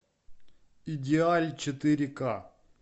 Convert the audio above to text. идеаль четыре к